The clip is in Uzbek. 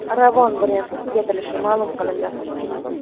Ravon brendi tugatilishi ma’lum qilindi.